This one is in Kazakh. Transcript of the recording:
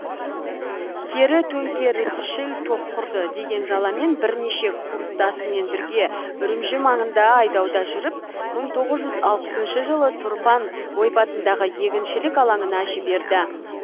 кері төңкерісшіл топ құрды деген жаламен бірнеше курстасыммен бірге үрімжі маңында айдауда жүріп мың тоғыз жүз алпысыншы жылы тұрпан ойпатындағы егіншілік алаңына жіберді